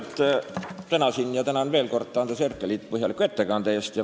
Ma juba tänasin ja tänan veel kord Andres Herkelit põhjalike ettekannete eest.